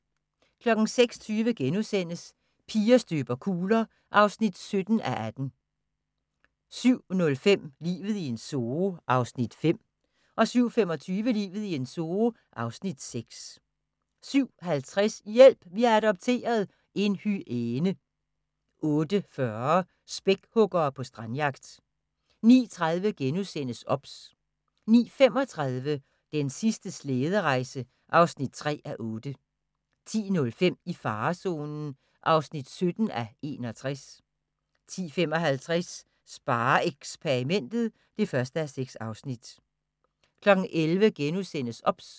06:20: Piger støber kugler (17:18)* 07:05: Livet i en zoo (5:10) 07:25: Livet i en zoo (6:10) 07:50: Hjælp! Vi har adopteret – en hyæne 08:40: Spækhuggere på strandjagt 09:30: OBS * 09:35: Den sidste slæderejse (3:8) 10:05: I farezonen (17:61) 10:55: SpareXperimentet (1:6) 11:00: OBS *